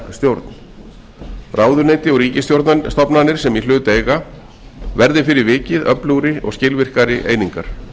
stjórn ráðuneyti og ríkisstofnanir sem í hlut eiga verði fyrir vikið öflugri og skilvirkari einingar